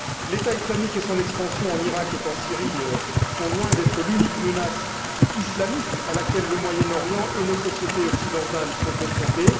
L'État islamique et son expansion en Iraq et en Syrie sont loin d'être l'unique menace islamiste à laquelle le Moyen Orient et nos sociétés occidentales sont confrontés.